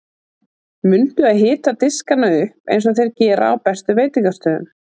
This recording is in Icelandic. Mundu að hita diskana upp eins og þeir gera á bestu veitingastöðum.